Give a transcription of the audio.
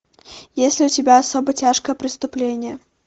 есть ли у тебя особо тяжкое преступление